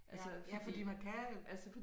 Ja ja fordi man kan jo